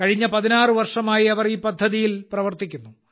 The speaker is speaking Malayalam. കഴിഞ്ഞ 16 വർഷമായി അവർ ഈ പദ്ധതിയിൽ പ്രവർത്തിക്കുന്നു